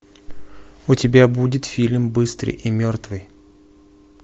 у тебя будет фильм быстрый и мертвый